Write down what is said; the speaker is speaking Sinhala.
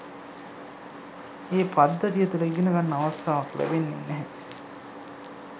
ඒ පද්ධතිය තුල ඉගනගන්න අවස්ථාවක් ලැබෙන්නේ නැහැ